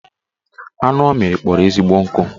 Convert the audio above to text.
Anụ ọ mịrị kpọrọ ezigbo nkụ